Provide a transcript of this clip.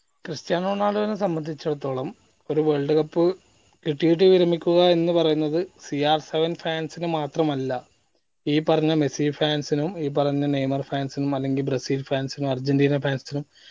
Cristiano റൊണാൾഡൊനെ സംബന്ധിച്ചിടത്തോളം ഒരു world cup കിട്ടിയിട്ട് വിരമിക്കുക എന്ന് പറയുന്നത് crseven fans നു മാത്രമല്ല ഈ പറഞ്ഞ മെസ്സി fans നും ഈ പറഞ്ഞ നെയ്മർ fans നും അല്ലെങ്കി ബ്രസീൽ fans നും അർജന്റീന fans നും